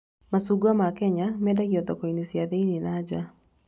Macungwa ma Kenya mendagio thoko-inĩ cia thĩiniĩ na nja